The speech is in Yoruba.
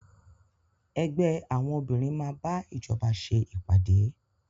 Ẹgbẹ́ àwọn obìnrin máa bá ìjọba ṣe ìpàdé.